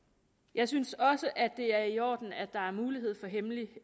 jeg synes også det er i orden at der er mulighed for hemmelig